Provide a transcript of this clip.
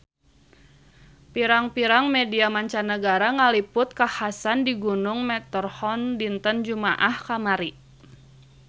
Pirang-pirang media mancanagara ngaliput kakhasan di Gunung Matterhorn dinten Jumaah kamari